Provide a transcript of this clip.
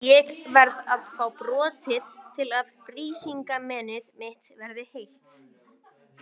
Ég verð að fá brotið til að Brísingamenið mitt verði heilt.